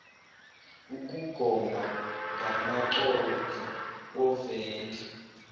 ukugoma ngamaconsi ovendle